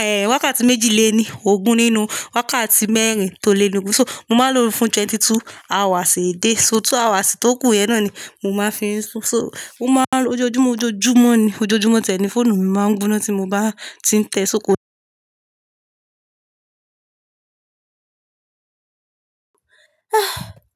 eh, wákàtí méjì lé ní ogún nínú wákàtí mẹ́rin tó lé ní ogún. So, mo máa ń lo fún twenty two hours a day. So, two hours tí tó kù yẹn náà ni mo máa fi ń sùn. So, ó máa n ojoojúmọ́, ojoojúmọ́ ni, ojoojúmọ́ tiẹ̀ ní fóònù mi máa ń gbóná tí mo bá ti ń tẹ só ko.